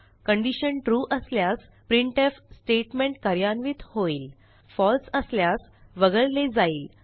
condition true असल्यास printf statement कार्यान्वित होईल फळसे असल्यास वगळले जाईल